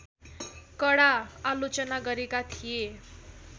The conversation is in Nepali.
कडा आलोचना गरेका थिए